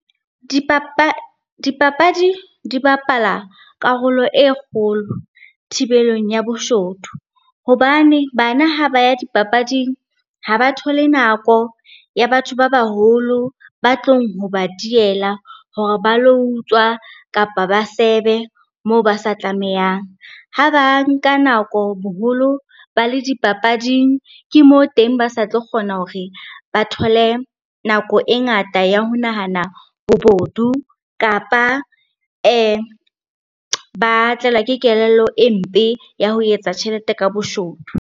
Dipapadi di bapala karolo e kgolo thibelong ya boshodu, hobane bana ha ba ya dipapading, ha ba thole nako ya batho ba baholo ba tlong ho ba diela hore ba lo utswa kapa ba sebe moo ba sa tlamehang. Ha ba nka nako boholo ba le dipapading, ke moo teng ba sa tlo kgona hore ba thole nako e ngata ya ho nahana bobodu kapa ba tlelwa ke kelello e mpe ya ho etsa tjhelete ka boshodu.